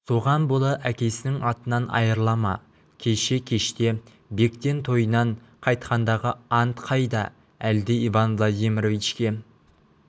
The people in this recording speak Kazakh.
соған бола әкесінің атынан айырыла ма кеше кеште бектен тойынан қайтқандағы ант қайда әлде иван владимировичке